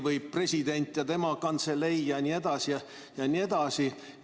Või president ja tema kantselei jne, jne.